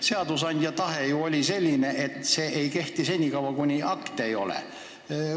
Seadusandja tahe ju oli selline, et seadus ei kehti senikaua, kuni akte ei ole.